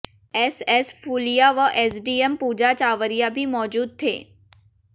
SS Phulia व SDM Pooja Chawaria भी मौजूद थे